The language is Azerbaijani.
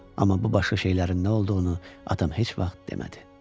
Amma bu başqa şeylərin nə olduğunu atam heç vaxt demədi.